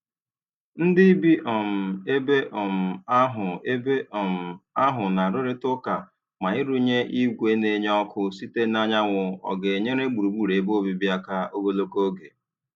Ndị bi um ebe um ahụ ebe um ahụ na-arụrịta ụka ma ịrụnye igwe na-enye ọkụ site n'anyanwụ ọ ga-enyere gburugburu ebe obibi aka ogologo oge.